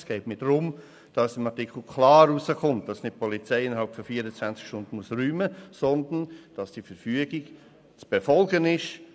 Es geht mir darum, dass aus dem Artikel klar hervorgeht, dass die Polizei nicht innerhalb von 24 Stunden räumen muss, sondern dass die Verfügung zu befolgen ist.